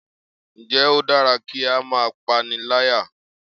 Ǹ jẹ́ o dára kí á máa pániláyà